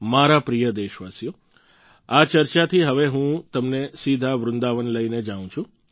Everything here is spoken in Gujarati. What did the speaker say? મારા પ્રિય દેશવાસીઓ આ ચર્ચાથી હવે હું તમને સીધા વૃંદાવન લઈને જાઉં છું